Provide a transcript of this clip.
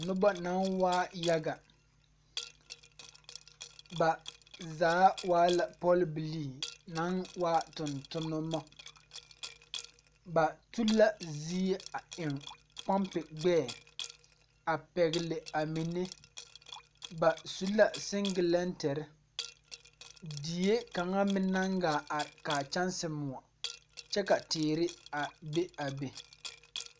Nobɔ naŋ waa yaga ba zaa waa la pɔlbilii naŋ waa tontonnema ba tu la zie a eŋ pɔmpeŋ naŋ waa gbɛɛ a pɛgle a mine ba su la seŋgelɛnterre die kaŋa meŋ naŋ gaa are kaa kyɛnse muoɔ kye ka teere a be a be.